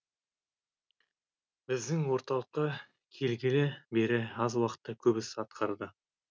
біздің орталыққа келгелі бері аз уақытта көп іс атқарды